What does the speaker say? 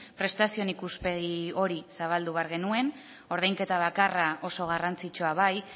prestazioen ikuspegi hori zabaldu behar genuen ordainketa bakarra oso garrantzitsua bai